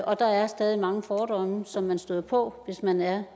og der er stadig mange fordomme som man støder på hvis man er